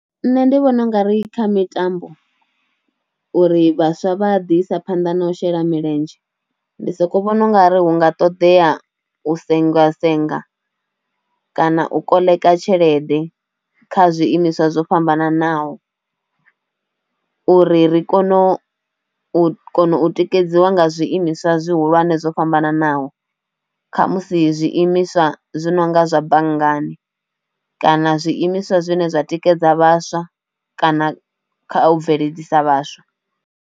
Nṋe ndi vhona u nga ri kha mitambo uri vhaswa vha ḓi isa phanḓa na u shela milenzhe ndi soko vhona ungari hunga ṱoḓea u sengwa senga kana u koḽeka tshelede kha zwiimiswa zwo fhambananaho uri ri kono u kona u tikedziwa nga zwiimiswa zwihulwane zwo fhambananaho, kha musi zwi imiswa zwi nonga zwa banngani kana zwiimiswa zwine zwa tikedza vhaswa kana kha u bveledzisa vhaswa.